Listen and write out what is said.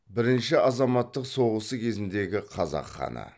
бірінші азаматтық соғысы кезіңдегі қазақ ханы